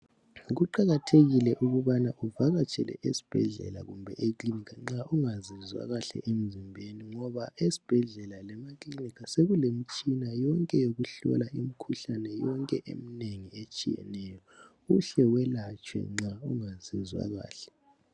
Kuqakathekile ukubana uvakatshele esibhedlela kumbe ekilinika nxa ungazizwa kahle emzimbeni ngoba esibhedlela lemakilinika sekulemitshina yonke yokuhlola imikhuhlane yonke emingengi etshiyeneyo uhle welatshwe nxa ungazizwakahle.